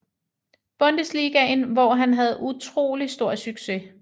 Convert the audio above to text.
Bundesligaen hvor han havde utrolig stor succes